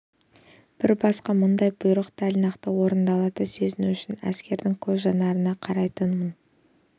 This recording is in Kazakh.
бір басқа мұндай бұйрық дәл нақты орындалады сезіну үшін әскердің көз жанарына қарайтынмын